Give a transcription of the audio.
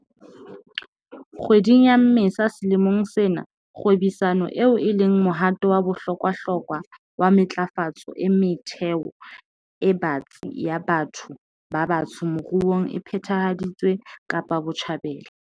Kgweding ya Mmesa selemong sena, kgwebisano eo e leng mohato wa bohlokwahlokwa wa matlafatso e metheo e batsi ya batho ba batsho moruong e phethahaditswe Kapa Botjhabela.